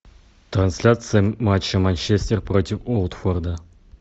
трансляция матча манчестер против уотфорда